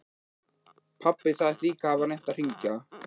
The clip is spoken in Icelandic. Pabbi sagðist líka hafa reynt að hringja.